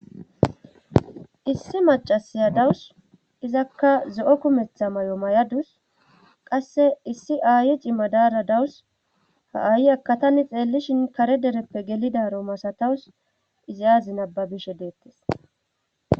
issi macasiya dawus izakka zo7o kumetha may7o may7adus qasse issi aaye cimadaara dawus ha7aayi akatani xeellishin kare dereppe gelidaro masatawus izi aazi nababishe deettes